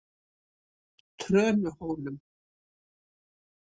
Trönuhólum